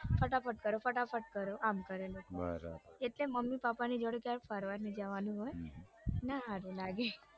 ફટાફટ કરો ફટાફટ કરો આમ કરે બરાબર એટલે મમમ પપા ની જોડે ક્યાંય ફરવા નઈ જવાનું હોય ના હારું લાગે